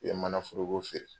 I bɛ mana foroko feere.